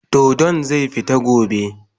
Dodon zai fita gobe.